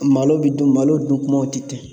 Malo bɛ dun malo dunkumaw tɛ ten